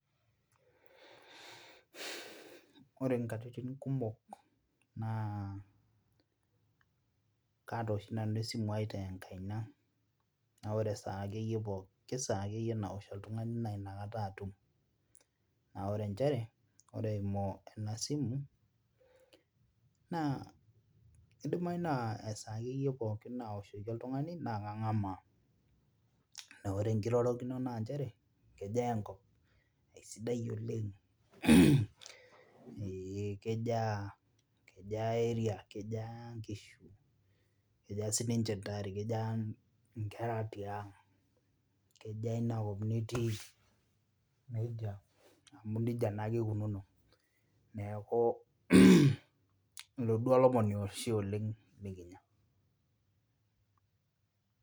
Ore inkatitin kumok naa kaata oshi nanu esimu ai tenkaina naa wore esaa akeyie pooki saa akeyie naosh ooltung'ani nainakata atum naore nchere ore eimu ena simu naa kidimai naa esaa akeyie pookin naoshoki oltung'ani naa kang'amaa nore enkirorokino nanchere kejaa enkop aisidai oleng mh eeh kejaa, kejaa area kejaa inkishu sininche intare kejaa inkera tiang kejaa inakop nitii nejo amu nejia naake ikununo neeku mh ilo duo olomoni oshi oleng likinya.